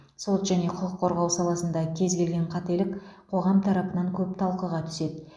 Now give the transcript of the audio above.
сот және құқық қорғау саласында кез келген қателік қоғам тарапынан көп талқыға түседі